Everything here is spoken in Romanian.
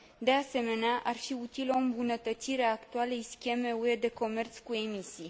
De asemenea, ar fi utilă o îmbunătățire a actualei scheme UE de comerț cu emisii.